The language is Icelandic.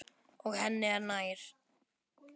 Og henni er nær.